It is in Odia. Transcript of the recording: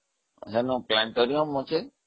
ସେଇ planetorium ଅଛି